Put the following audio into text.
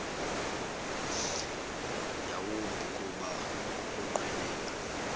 yawumbi kuba ukunqwenela